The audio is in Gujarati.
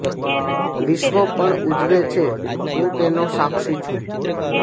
વિશ્ર્વ પણ ઉજવે છે હું તેનો સાક્ષી છું